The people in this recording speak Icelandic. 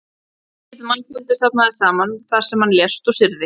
Mikill mannfjöldi safnaðist saman þar sem hann lést og syrgði.